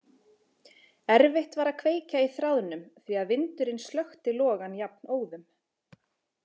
Erfitt var að kveikja í þráðunum því að vindurinn slökkti logann jafnóðum.